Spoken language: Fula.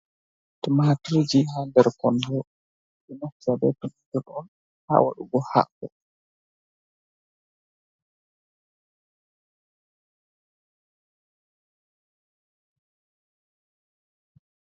Tumaaturji ha nder kondo. ɓe ɗo naftira be tumatur on ha waɗugo haako.